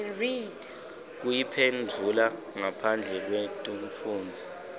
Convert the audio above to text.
kuyiphendvula ngaphandle kwekufundza